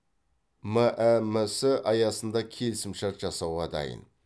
мәмс аясында келісімшарт жасауға дайын